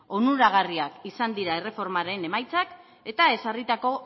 onuragarriak izan dira erreformaren emaitzak eta ezarritako